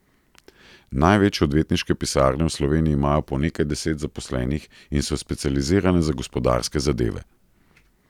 Največje odvetniške pisarne v Sloveniji imajo po nekaj deset zaposlenih in so specializirane za gospodarske zadeve.